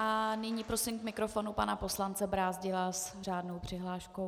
A nyní prosím k mikrofonu pana poslance Brázdila s řádnou přihláškou.